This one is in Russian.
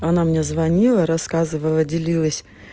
она мне звонила рассказывала делилась